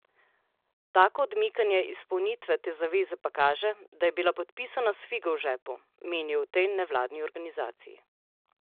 Tako odmikanje izpolnitve te zaveze pa kaže, da je bila podpisana s figo v žepu, menijo v tej nevladni organizaciji.